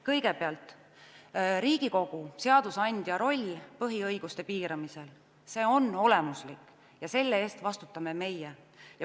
Kõigepealt, Riigikogu seadusandja roll põhiõiguste piiramisel – see on olemuslik ja selle eest vastutame meie.